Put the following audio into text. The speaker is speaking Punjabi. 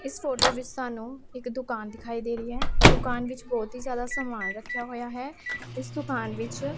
ਇਸ ਫੋਟੋ ਵਿੱਚ ਸਾਨੂੰ ਇੱਕ ਦੁਕਾਨ ਦਿਖਾਈ ਦੇ ਰਹੀ ਐ ਦੁਕਾਨ ਵਿੱਚ ਬਹੁਤ ਹੀ ਜਿਆਦਾ ਸਮਾਨ ਰੱਖਿਆ ਹੋਇਆ ਹੈ ਇਸ ਦੁਕਾਨ ਵਿੱਚ --